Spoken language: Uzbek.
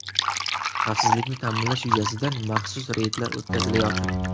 Xavfsizlikni ta’minlash yuzasidan maxsus reydlar o‘tkazilayotir.